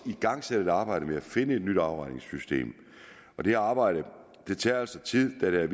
igangsat et arbejde med at finde et nyt afregningssystem dette arbejde tager altså tid da